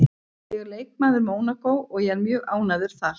Ég er leikmaður Mónakó og ég er mjög ánægður þar